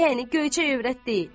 Yəni göyçək övrət deyil.